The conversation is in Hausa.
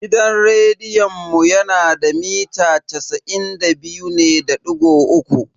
Gidan rediyon mu yana da mita casa'in da biyu ne da digo uku.